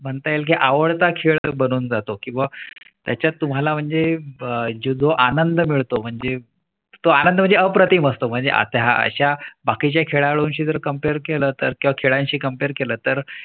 म्हणता येईल की आवडता खेळ बनून जातो किंवा त्याच्यात तुम्हाला म्हणजे जो आनंद मिळतो म्हणजे तो आनंद म्हणजे अप्रतिम असतो. म्हणजे आता अशा बाकी च्या खेळांची जर Compare केला तर खेळा शी Compare केला तर